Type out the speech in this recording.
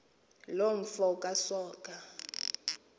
loo mfo kasoga